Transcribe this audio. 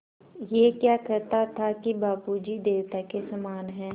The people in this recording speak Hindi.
ऐं क्या कहता था कि बाबू जी देवता के समान हैं